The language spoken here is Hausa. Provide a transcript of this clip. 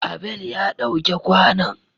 Abel ya ɗau ke kwanon.